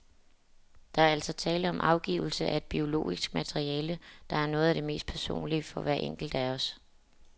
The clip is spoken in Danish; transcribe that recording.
Der er altså tale om afgivelse af et biologisk materiale, der er noget af det mest personlige for hver enkelt af os.